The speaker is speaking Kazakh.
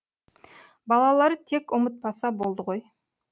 балалары тек ұмытпаса болды ғой